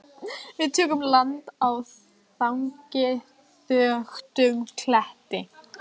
Við tökum land á þangi þöktum kletti.